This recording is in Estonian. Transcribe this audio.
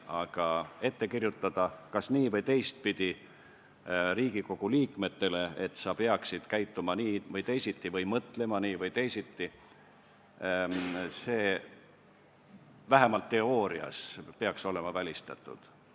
Aga Riigikogu liikmetele kas nii- või teistpidi ette kirjutada, et nad peaksid käituma nii või teisiti või mõtlema nii või teisiti – see peaks vähemalt teoorias olema välistatud.